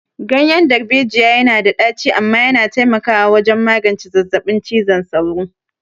Ganyen darbejiya yana da ɗaci amma yana taimakawa wajen magance zazzabin cizon sauro.